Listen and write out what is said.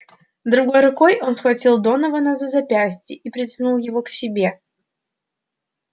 другой рукой он схватил донована за запястье и притянул его к себе